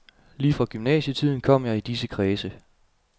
Lige fra gymnasietiden kom jeg i disse kredse.